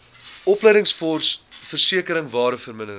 opleidingsfonds versekering waardevermindering